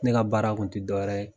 Ne ka baara kun tɛ dɔwɛrɛ ye.